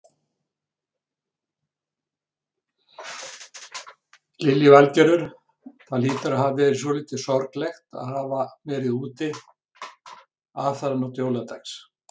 Lillý Valgerður: Það hlýtur að hafa verið svolítið sorglegt að hafa verið úti aðfaranótt jóladags?